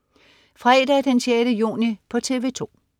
Fredag den 6. juni - TV 2: